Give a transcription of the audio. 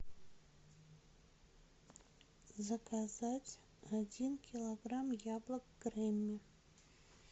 заказать один килограмм яблок гремми